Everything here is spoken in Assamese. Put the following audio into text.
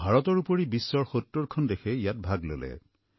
ভাৰতৰ উপৰিও বিশ্বৰ ৭০খন দেশে ইয়াত ভাগ ললে